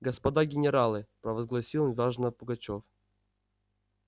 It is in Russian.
господа генералы провозгласил важно пугачёв